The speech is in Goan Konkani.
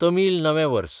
तमील नवें वर्स